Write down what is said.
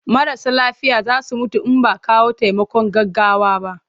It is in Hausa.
Marasa lafiya za su mutu in ba a kawo taimakon gaggawa ba.